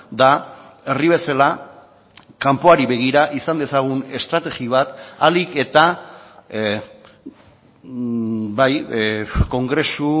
da herri bezala kanpoari begira izan dezagun estrategi bat ahalik eta bai kongresu